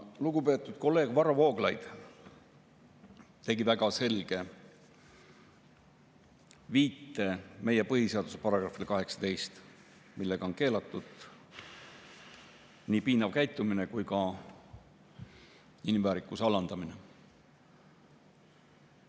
Lugupeetud kolleeg Varro Vooglaid tegi väga selge viite meie põhiseaduse §‑le 18, millega on keelatud nii piinav käitumine kui ka inimväärikuse alandamine.